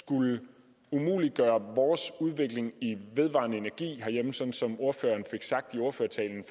skulle umuliggøre vores udvikling af vedvarende energi herhjemme sådan som ordføreren fik sagt i ordførertalen